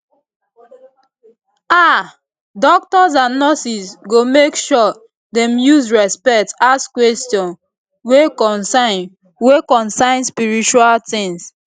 ah doctors and nurses go make sure dem use respect ask questions wey concern wey concern spiritual tings